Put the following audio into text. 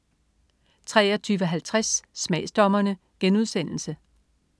23.50 Smagsdommerne*